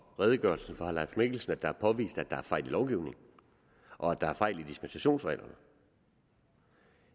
redegørelsen fra herre leif mikkelsen er påvist at der er fejl i lovgivningen og at der er fejl i dispensationsreglerne